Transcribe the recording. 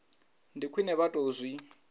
ndi khwine vha tou zwi